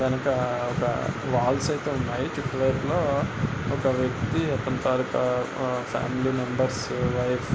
వెనక ఒక వాల్స్ అయితే ఉన్నాయి.చుట్టూ వైపు లో ఒక వ్యక్తి అతని తాలుక ఫామిలీ మెంబెర్స్ వైఫ్ --